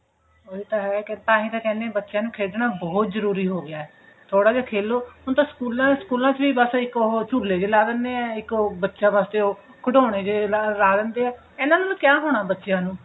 ਉਹੀ ਤਾਂ ਹੈ ਤਾਹੀਂ ਤਾਂ ਕਹਿੰਦੇ ਨੇ ਬੱਚਿਆ ਨੂੰ ਖੇਡਣਾ ਬਹੁਤ ਜਰੂਰੀ ਹੋ ਗਿਆ ਥੋੜਾ ਜਿਹਾ ਖੇਲੋ ਹੁਣ ਤਾਂ ਸਕੂਲਾਂ ਸਕੂਲਾਂ ਚ ਵੀ ਬਸ ਇੱਕ ਉਹ ਝੂਲੇ ਜੇ ਲਾ ਦਿੰਦੇ ਐ ਇੱਕ ਉਹ ਬੱਚਿਆ ਵਾਸਤੇ ਉਹ ਖਿਡੋਣੇ ਜੇ ਲਾ ਦਿੰਦੇ ਐ ਇਹਨਾਂ ਨਾਲ ਕਿ ਹੋਣਾ ਬੱਚਿਆ ਨੂੰ